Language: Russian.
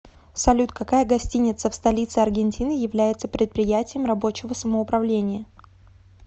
салют какая гостиница в столице аргентины является предприятием рабочего самоуправления